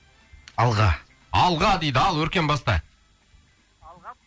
алға алға дейді ал өркен баста алға